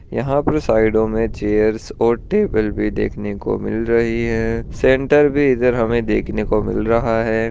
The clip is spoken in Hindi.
यहाँ पर साइडों मे चेयर्स और टेबल भी देखने को मिल रही है सेंटर भी इधर हमे देखने को मिल रहा है।